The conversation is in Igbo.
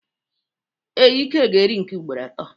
Ee, Ike ga eri nke ugboro ato.